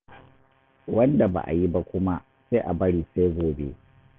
Wanda ba a yi ba kuma, sai a bari sai gobe.